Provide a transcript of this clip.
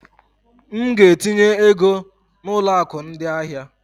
M ga-etinye ego na ụlọ akụ ndị ahịa.